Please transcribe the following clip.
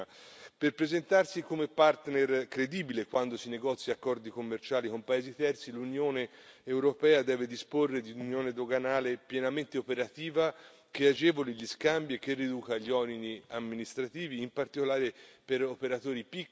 In primo luogo, per presentarsi come partner credibile quando si negoziano accordi commerciali con paesi terzi, l'Unione europea deve disporre di un'Unione doganale pienamente operativa che agevoli gli scambi e che riduca gli oneri amministrativi, in particolare per operatori